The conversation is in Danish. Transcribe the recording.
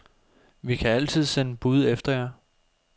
Vi kan altid sende bud efter jer.